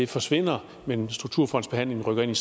forsvinder men strukturfondbehandlingen rykker ind